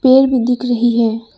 पेड़ भी दिख रही है।